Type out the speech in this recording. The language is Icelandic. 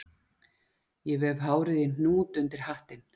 Ég vef hárið í hnút undir hattinn